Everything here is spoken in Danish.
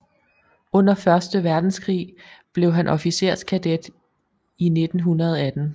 Under første verdenskrig blev han officerskadet i 1918